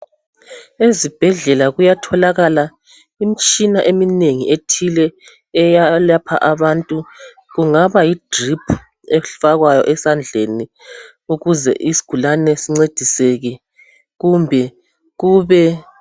Ezibhedlela kuyatholakala imtshina eminengi ethile eyelapha abantu, kungaba yidriphu efakwayo esandleni ukuze isgulane sincediseke kumbe kube ...